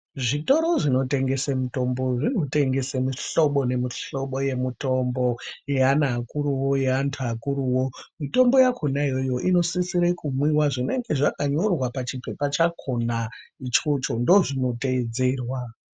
Zvitoro zvinotengese mitombo zvinotengese mihlobo nemihlobo yemitombo, yeana akuruvo. yeantu akuruvo. Mitombo yakona iyoyo inosisire kumwiva zvinonga zvakanyorwa pachipepa chakona ichocho ndozvinoteedzerwa.